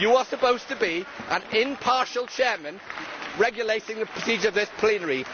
You are supposed to be an impartial Chair, regulating the procedure in this plenary.